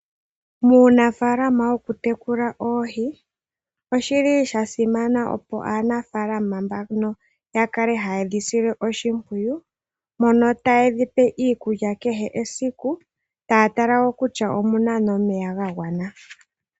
Muunafaalama wokutekula oohi oshili sha simana opo aanafaalama mbano yakale haye dhi sile oshimpwiyu mono taye dhipe iikulya kehe esiku taya tala woo ngele omuna omeya gagwana.